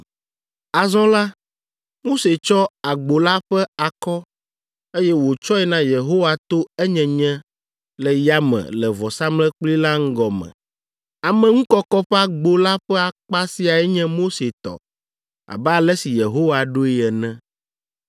Azɔ la, Mose tsɔ agbo la ƒe akɔ, eye wòtsɔe na Yehowa to enyenye le yame le vɔsamlekpui la ŋgɔ me. Ameŋukɔkɔ ƒe agbo la ƒe akpa siae nye Mose tɔ abe ale si Yehowa ɖoe ene.